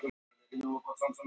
Hverjir mæta Íslendingum